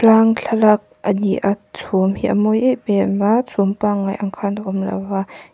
thlalak a ni a chhum hi a mawi em em a chhum pangai ang khan a awm lo a.